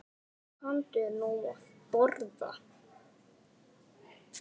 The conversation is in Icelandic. Komdu nú að borða